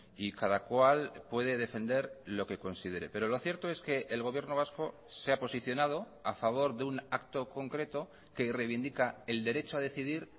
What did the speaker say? y cada cual puede defender lo que considere pero lo cierto es que el gobierno vasco se ha posicionado a favor de un acto concreto que reivindica el derecho a decidir